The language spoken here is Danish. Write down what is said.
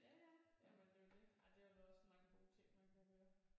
Ja ja jamen det er jo det der er dæleme også mange gode ting man kan høre